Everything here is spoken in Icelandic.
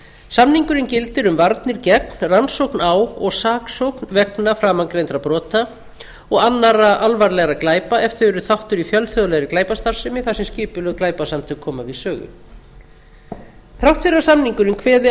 samningurinn gildir um varnir gegn rannsókn á og saksókn vegna framangreindra brota og annarra alvarlegra glæpa ef þau eru þáttur í fjölþjóðlegri glæpastarfsemi þar sem skipulögð glæpasamtök koma við sögu þrátt fyrir að samningurinn kveði